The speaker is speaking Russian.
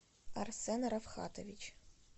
арсен рафхатович